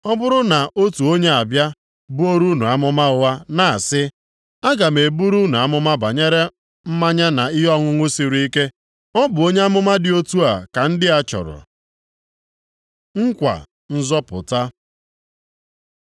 Ọ bụrụ na otu onye abịa buoro unu amụma ụgha na-asị, ‘Aga m eburu unu amụma banyere mmanya na ihe ọṅụṅụ siri ike,’ ọ bụ onye amụma dị otu a ka ndị a chọrọ. Nkwa nzọpụta